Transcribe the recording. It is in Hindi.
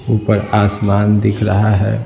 ऊपर आसमान दिख रहा है।